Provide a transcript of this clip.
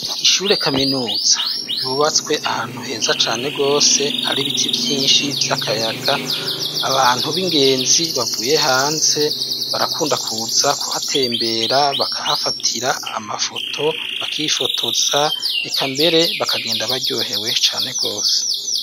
Ishure kaminuza ryubatswe ahantu heza cane gose hari ibiti vyinshi vy'akayaga abantu b'ingenzi bavuye hanze barakunda kuza kuhatembera bakahafatira amafoto bakifotoza eka mbere bakagenda baryohewe cane gose.